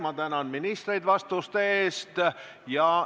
Ma tänan ministreid vastuste eest!